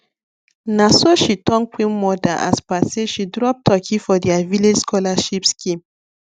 naso she turn queen mother as per say she drop turkey for their village scholarship scheme